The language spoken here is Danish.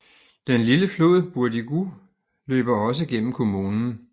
Den lille flod Bourdigou løber også gennem kommunen